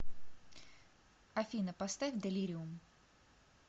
афина поставь делириум